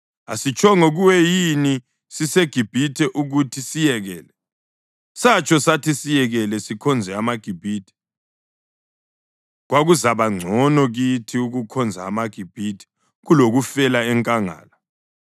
Asitshongo kuwe yini siseGibhithe ukuthi siyekele? Satsho sathi siyekele sikhonze amaGibhithe. Kwakuzaba ngcono kithi ukukhonza amaGibhithe kulokufela enkangala!”